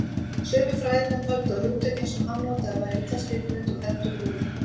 Sumir fræðimenn töldu að hugtökin sem hann notaði væru illa skilgreind og heldur loðin.